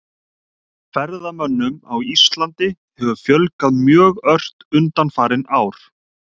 Ferðamönnum á Íslandi hefur fjölgað mjög ört undanfarin ár.